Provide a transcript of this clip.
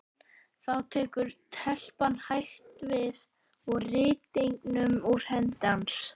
Þá tekur telpan hægt við rýtingnum úr hendi hans.